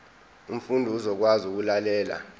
umfundi uzokwazi ukulalela